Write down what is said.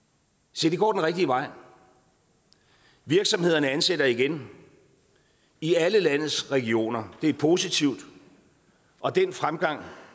se det går den rigtige vej virksomhederne ansætter igen i alle landets regioner det er positivt og den fremgang